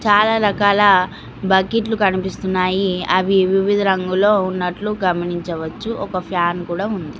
చాలా రకాల బకిట్లు కనిపిస్తున్నాయి అవి వివిధ రంగులో ఉన్నట్లు గమనించవచ్చు ఒక ఫ్యాన్ కూడా ఉంది.